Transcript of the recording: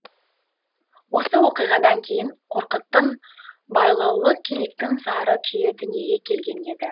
осы оқиғадан кейін қорқыттың байлаулы киіктің зары күйі дүниеге келген екен